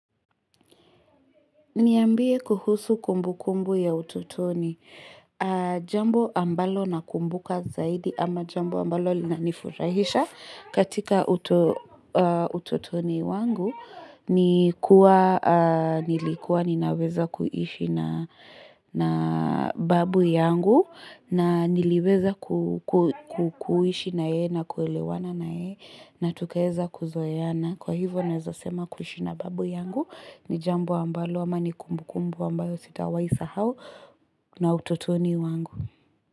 Niambie kuhusu kumbu kumbu ya utotoni. Jambo ambalo na kumbuka zaidi ama jambo ambalo linanifurahisha. Katika utotoni wangu nilikuwa ninaweza kuishi na babu yangu na niliweza kuishi na yeye na kuelewana na yeye na tukaweza kuzoeana. Kwa hivyo ninaweza sema kuishi na babu yangu ni jambo ambalo ama ni kumbu kumbu ambayo sitawahi sahau na utotoni wangu.